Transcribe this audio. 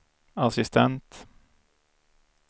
assistent